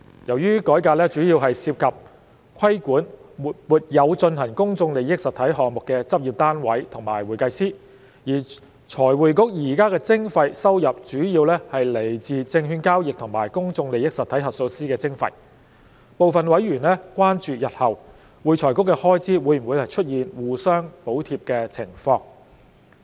由於改革主要涉及規管沒有進行公眾利益實體項目的執業單位和會計師，而財匯局現時的徵費收入主要來自證券交易及公眾利益實體核數師的徵費，部分委員關注日後會財局的開支會否出現互相補貼的情況。